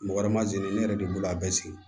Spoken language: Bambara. Mɔgɔ wɛrɛ ma jigin ne yɛrɛ de bolo a bɛɛ sigi